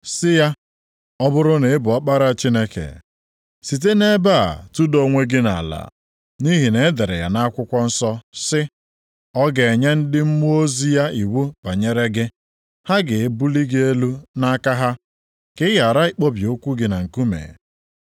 sị ya, “Ọ bụrụ na ị bụ Ọkpara Chineke, site nʼebe a tụda onwe gị nʼala. Nʼihi na e dere ya nʼakwụkwọ nsọ sị, “ ‘Ọ ga-enye ndị mmụọ ozi ya iwu banyere gị, ha ga-ebuli gị elu nʼaka ha ka ị ghara ịkpọbi ụkwụ gị na nkume.’ + 4:6 \+xt Abụ 91:11,12\+xt*”